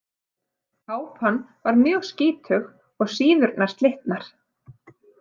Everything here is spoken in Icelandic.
Kápan var mjög skítug og síðurnar slitnar.